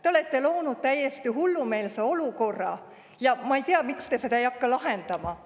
Te olete loonud täiesti hullumeelse olukorra ja ma ei tea, miks te seda ei hakka lahendama.